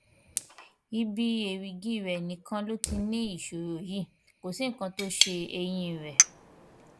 ibi èrìgì rẹ nìkan ló ti ní ìṣòro yìí kò sí nǹkan tó ṣe eyín rẹ